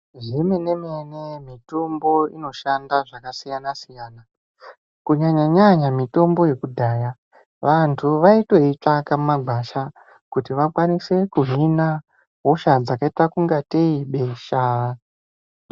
Zvemene-mene mitombo inoshanda zvakasiyana-siyana Kunyanya-nyanya mitombo yekudhaya vantu vaitoitsvaka mumagwasha. Kuti vakwanise kuhina hosha dzakaita kunga tei besha.